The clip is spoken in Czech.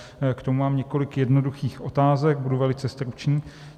K tomu mám několik jednoduchých otázek, budu velice stručný.